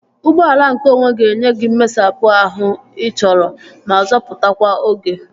Ụgbọala nke onwe ga-enye gị mmesapụ ahụ ị chọrọ ma zọpụtakwa oge